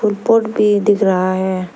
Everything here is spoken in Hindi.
फुल पॉट भी दिख रहा है।